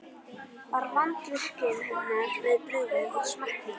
Var vandvirkni hennar við brugðið og smekkvísi.